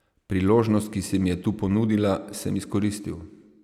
Priložnost, ki se mi je tu ponudila, sem izkoristil.